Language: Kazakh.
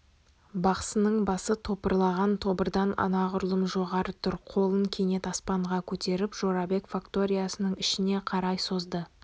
бақсының басы топырлаған тобырдан анағұрлым жоғары тұр қолын кенет аспанға көтеріп жорабек факториясының ішіне қарай созды